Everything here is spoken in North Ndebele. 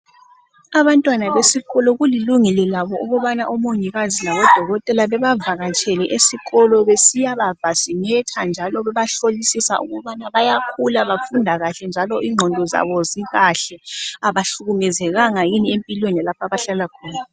Abantwana besikolo kulilungelo labo ukubana omongikazi labodokotela bebavakatshele esikolo besiyaba vasinetha njalo bebahlolisisa uba bayakhula, bafunda njalo, ingqondo zabo zikahle abahlukumekezekanga yini empilweni lapho abahlala khona.